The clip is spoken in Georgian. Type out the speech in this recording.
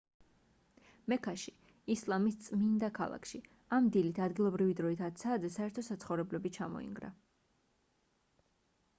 მექაში ისლამის წმინდა ქალაქში ამ დილით ადგილობრივი დროით 10 საათზე საერთო საცხოვრებლები ჩამოინგრა